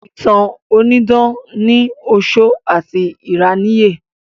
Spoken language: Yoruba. Ìtàn onídán ní ọ̀ṣọ́ àti ìráníyè